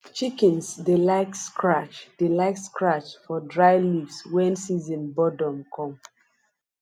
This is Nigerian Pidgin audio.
chickens dey like scratch dey like scratch for dry leaves when season boredom come